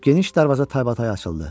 Geniş darvaza taybatay açıldı.